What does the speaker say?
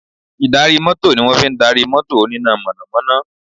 Ì̀darí mọ́tò ni wọ́n fi darí mọ́tò oníná mọ̀nàmọ́ná